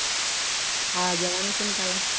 હા જવાનું છે ને કાલે.